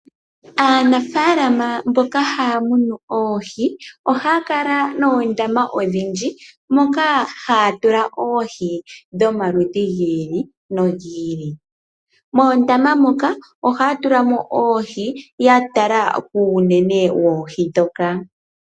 Aanafalama mboka haamunu oohi, ohaakala noondama odhindji moka haatula oohi dhomaludhi giili no giili. Moondama moka ohaatulamo oohi yatala kuunene woohi.